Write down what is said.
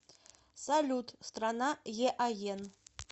салют страна еаен